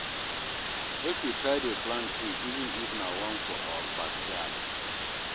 mek we try dey plant tree even if na one for our backyard